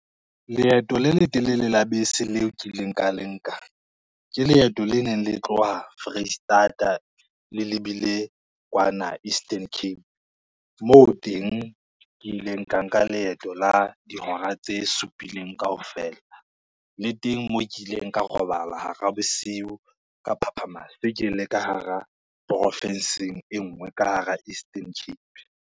Leeto le letelele la bese leo ke ileng ka le nka, ke leeto le neng le tloha Foreisetata le lebile kwana Eastern Cape, moo teng ke ileng ka nka leeto la dihora tse supileng kaofela le teng moo ke ileng ka robala hara bosiu, ka phaphama se ke le ka hara profinsing e ngwe ka hara Eastern Cape.